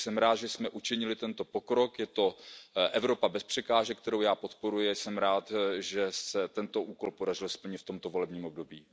Takže jsem rád, že jsme učinili tento pokrok, je to Evropa bez překážek, kterou já podporuji, a jsem rád, že se tento úkol podařilo splnit v tomto volebním období.